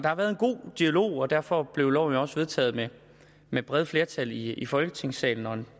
har været en god dialog og derfor blev loven jo også vedtaget med et bredt flertal i i folketingssalen og